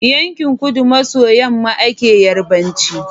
Yankin kudu maso yamma ake yarbanci